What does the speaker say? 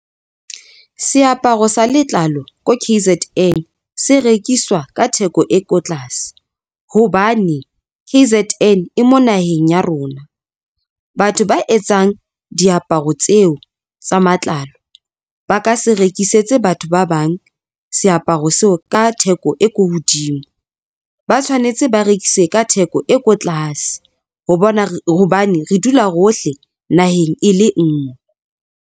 Seaparo sa letlalo ko K_Z_N se rekiswa ka theko e ko tlase hobane K_Z_N e mo naheng ya rona. Batho ba etsang diaparo tseo tsa matlalo ba ka se rekisetse batho ba bang seaparo seo ka theko e ko hodimo ba tshwanetse ba rekise ka theko e ko tlase hobane re dula hohle naheng e le ngwe.